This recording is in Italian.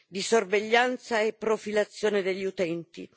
di sorveglianza e profilazione degli utenti.